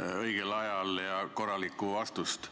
õigel ajal ja korralikku vastust.